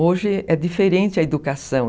Hoje é diferente a educação.